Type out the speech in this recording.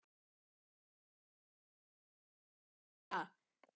Sigurborg, hvernig kemst ég þangað?